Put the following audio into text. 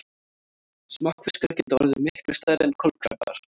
Smokkfiskar geta orðið miklu stærri en kolkrabbar.